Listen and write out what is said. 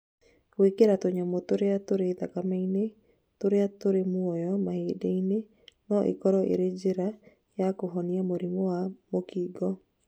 gwĩkĩra tũnyamũ turĩa tũrĩ thakameinĩ tũria tũrĩ mũoyo mahĩndĩ-inĩ no ĩkorwo ĩrĩ njĩra ya kũhonia mũrimũ wa mũkingo